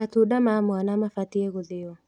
Matunda ma mwana mabatiĩ gũthĩo